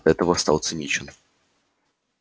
и от этого стал циничен